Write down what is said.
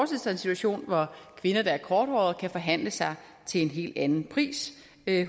sig en situation hvor kvinder der er korthårede kan forhandle sig til en helt anden pris